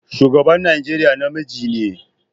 Shugaban Najeriya namiji ne.